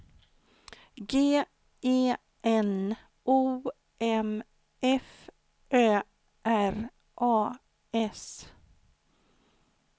G E N O M F Ö R A S